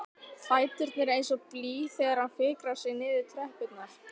Fæturnir eins og blý þegar hann fikrar sig niður tröppurnar.